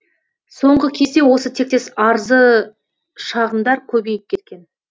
соңғы кезде осы тектес арзы шағымдар көбейіп кеткен